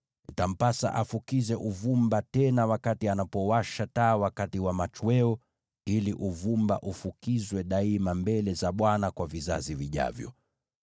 Itampasa afukize uvumba tena wakati anapowasha taa wakati wa machweo ili uvumba ufukizwe daima mbele za Bwana kwa vizazi vijavyo.